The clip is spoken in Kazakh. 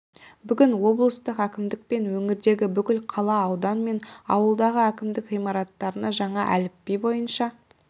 бүгін облыстық әкімдік пен өңірдегі бүкіл қала аудан мен ауылдағы әкімдік ғимараттарына жаңа әліпби бойынша